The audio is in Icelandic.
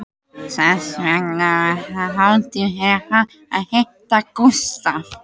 Þess vegna var það hátíð fyrir hana að hitta Gústaf